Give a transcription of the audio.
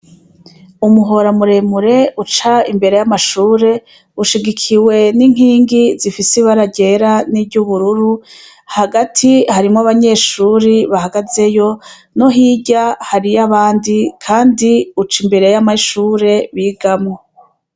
Umuhora muremure uca imbere y'amashure ushigikiwe n'inkingi zifise ibara ryera n'iryubururu, hagati harimwo abanyeshuri bahagazeyo no hirya hariyo abandi, kandi uca imbere y'amashure bigamwo.